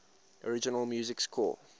original music score